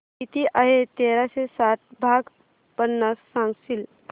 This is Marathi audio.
किती आहे तेराशे साठ भाग पन्नास सांगशील